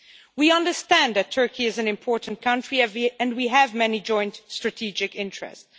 We understand that Turkey is an important country and we have many joint strategic interests.